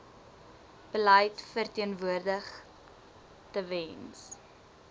beleid verteenwoordig tewens